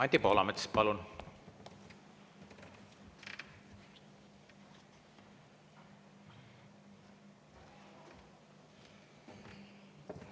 Anti Poolamets, palun!